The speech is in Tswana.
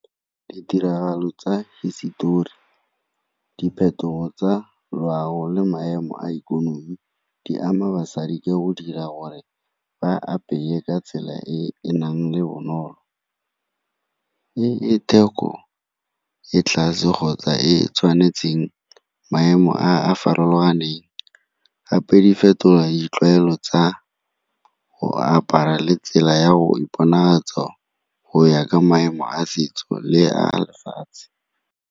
Ditiragalo tsa hisetori, dipheto tsa loago, le maemo a ikonomi di ama basadi ka go dira gore ba apeye ka tsela e e nang le bonolo. E e theko e tlase kgotsa e tshwanetseng maemo a a farologaneng, gape di fetola ditlwaelo tsa go apara le tsela ya go iponatsa go ya ka maemo a setso le a lefatshe.